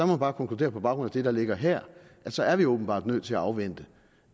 må bare konkludere på baggrund af det der ligger her at så er vi åbenbart nødt til at afvente